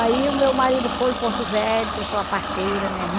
Aí o meu marido foi em Porto Velho, trouxe uma parteira, né?